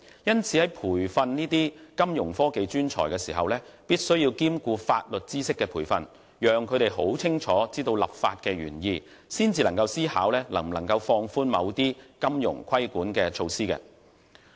因此，在培訓金融科技專才時，必須兼顧法律知識的培訓，讓他們清楚知道立法的原意，才能思考能否放寬某些金融規管措施。